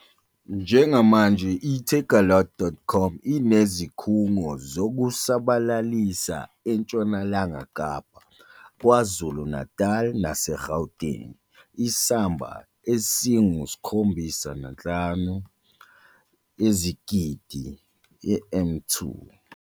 Njengamanje i-Takealot.com inezikhungo zokusabalalisa eNtshonalanga Kapa, KwaZulu-Natal naseGauteng, isamba esingu-75 000 m 2.